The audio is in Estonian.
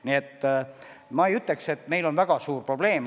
Nii et ma ei ütleks, et meil on väga suur probleem.